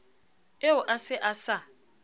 eo a se a sa